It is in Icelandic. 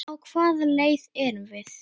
Á hvaða leið erum við?